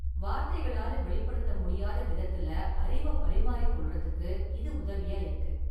வார்த்தைகளால வெளிப்படுத்த முடியாத விதத்துல அறிவ பரிமாறிக்கொள்றதுக்கு இது உதவியா இருக்கு.